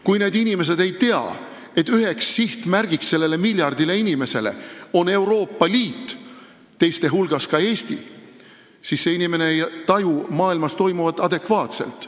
Kui see inimene ei tea, et selle miljardi inimese jaoks on üks sihtmärk Euroopa Liit, teiste hulgas ka Eesti, siis ta ei taju maailmas toimuvat adekvaatselt.